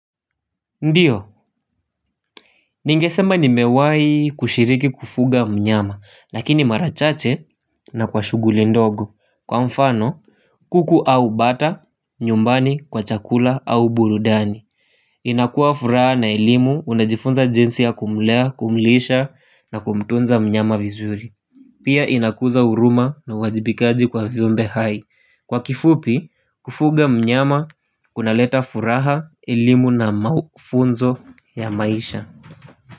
Ndiyo, ningesema nimewahi kushiriki kufuga mnyama, lakini marachache na kwa shughuli ndogo. Kwa mfano, kuku au bata, nyumbani, kwa chakula au burudani. Inakua furaha na elimu, unajifunza jinsi ya kumlea, kumlisha na kumtunza mnyama vizuri. Pia inakuza huruma na uwajibikaji kwa vyumbe hai. Kwa kifupi, kufuga mnyama, kunaleta furaha, elimu na mafunzo ya maisha.